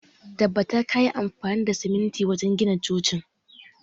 Tabbata kayi amfani da siminti wajen gina cocin!